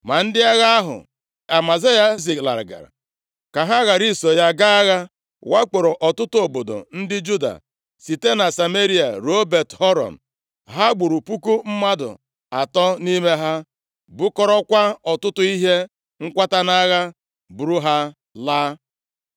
Ma ndị agha ahụ Amazaya zilagara, ka ha ghara iso ya gaa agha, wakporo ọtụtụ obodo ndị Juda site na Sameria ruo Bet-Horon. Ha gburu puku mmadụ atọ nʼime ha, bukọrọkwa ọtụtụ ihe nkwata nʼagha, buru ha laa.